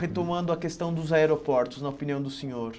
Retomando a questão dos aeroportos, na opinião do senhor.